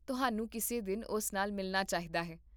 ਤੁਹਾਨੂੰ ਕਿਸੇ ਦਿਨ ਉਸ ਨਾਲ ਮਿਲਣਾ ਚਾਹੀਦਾ ਹੈ